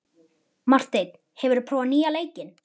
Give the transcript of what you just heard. Marteinn, hefur þú prófað nýja leikinn?